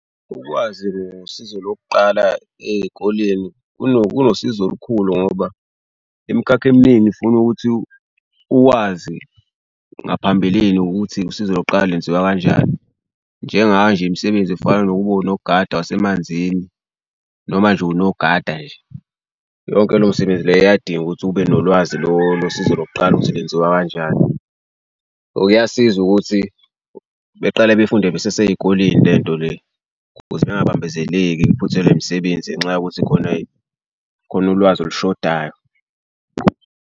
Ukwazi ngosizo lokuqala ey'koleni kunosizo olukhulu ngoba imikhakha eminingi ifuna ukuthi uwazi ngaphambilini ukuthi usizo lokuqala lenziwa kanjani. Njengayo nje imisebenzi efana nokuba unogada wasemanzini, noma nje unogada nje, yonke lo msebenzi le iyadinga ukuthi ube nolwazi losizo lokuqala ukuthi lenziwa kanjani. Or kuyasiza ukuthi beqale befunde beseseyikoleni le nto le ukuze bengabambezeleki phuthelwe imisebenzi ngenxa yokuthi khona khona ulwazi olushodayo.